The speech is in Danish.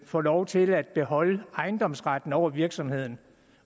får lov til at beholde ejendomsretten over virksomheden